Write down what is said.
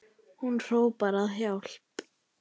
Hún hrópar á hjálp.